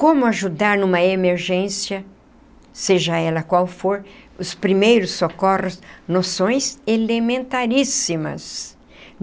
Como ajudar numa emergência, seja ela qual for, os primeiros socorros, noções elementaríssimas.